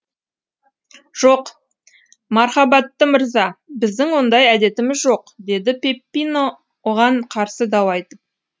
жоқ мархабатты мырза біздің ондай әдетіміз жоқ деді пеппино оған қарсы дау айтып